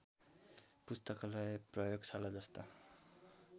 पुस्तकालय प्रयोगशाला जस्ता